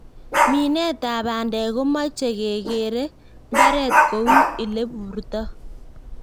Minetab bandek komoche kekerer mbaret kou ileburto.